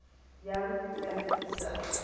jou kind se